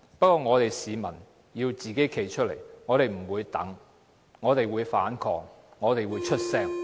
不過，市民要站出來，我們不會等待，我們會反抗，我們會發聲。